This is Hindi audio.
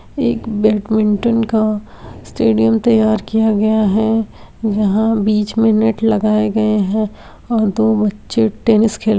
एक बैडमिंटन का स्टेडियम तैयार किया गया है | यहाँ बीच में नेट लगाए गए हैं और दो बच्चे टेनिस खेल रहे --